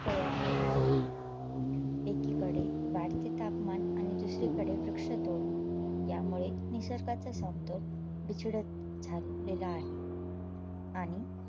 तयार झालेली आहे एकीकडे वाढते तापमान आणि दुसरीकडे वृक्षतोड यामुळे निसर्गाचा समतोल बिछडत झालेला आहे. आणि